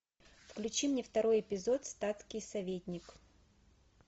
включи мне второй эпизод статский советник